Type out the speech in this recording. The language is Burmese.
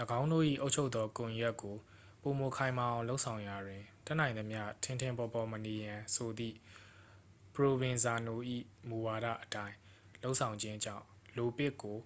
၎င်းတို့၏အုပ်ချုပ်သောကွန်ရက်ကိုပို၍ခိုင်မာအောင်လုပ်ဆောင်ရာတွင် တတ်နိုင်သမျှ ထင်ထင်ပေါ်ပေါ်မနေရန်ဆိုသည့် ပရိုဗင်ဇာနို၏မူဝါဒအတိုင်းလုပ်ဆောင်ခြင်းကြောင့် လိုပစ်ကို